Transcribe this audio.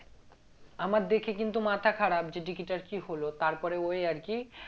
আমার দেখে কিন্তু মাথা খারাপ যে dickey টার কি হলো তারপরে ওই আর কি